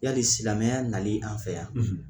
Yali silamɛnya nali an fɛ yan.